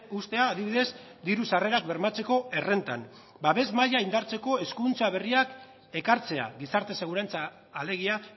uztea adibidez diru sarrerak bermatzeko errentan babes maila indartzeko eskuduntza berriak ekartzea gizarte segurantza alegia